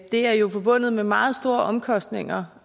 det er jo forbundet med meget store omkostninger